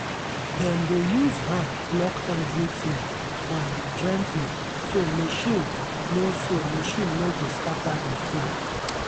dem dey use hand pluck everything um gently so machine no so machine no go scatter the food.